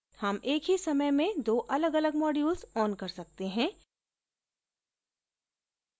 हम एक ही समय में दो अलगअलग modules on कर सकते हैं